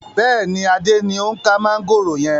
Bẹ́ẹ̀ni, Adé ni o ń ka mọ̀ngòrò yẹn.